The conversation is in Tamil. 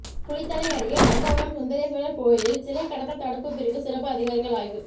குளித்தலை அருகே நங்கவரம் சுந்தரேஸ்வர் கோயிலில் சிலை கடத்தல் தடுப்பு பிரிவு சிறப்பு அதிகாரிகள் ஆய்வு